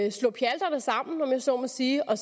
og slå pjalterne sammen om jeg så må sige og